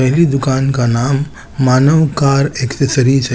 मेरी दुकान का नाम मानव कार एसेसरीज --